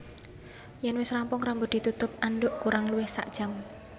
Yèn wis rampung rambut ditutup andhuk kurang luwih sakjam